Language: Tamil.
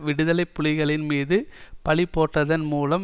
விடுதலை புலிகளின் மீது பழி போட்டதன் மூலம்